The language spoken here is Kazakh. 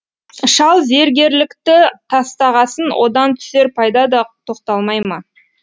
шал зергерлікті тастағасын одан түсер пайда да тоқталмай ма